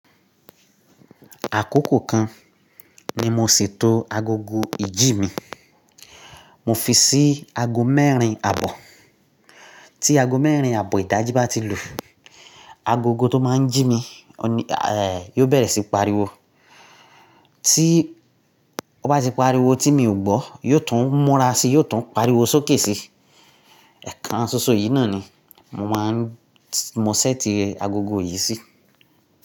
Àkókò kan ni mo ṣètò agogo ìjí mi. Mo fi sí aago mẹ́rin àbọ̀. Tí aago mẹ́rin àbọ̀ ìdajì bá ti lu, agogo tó máa ń jí mi, òní, eh, yóò bẹ̀rẹ̀ sí pariwo. Tí ó bá ti pariwo tí mi ò gbọ́, yóò tún múra sí, yóò tún pariwo sókè sí. Ẹ̀kàn ṣoṣo yìí náà ni mo máa ń mo sẹ́ẹ̀tì agogo yìí sí.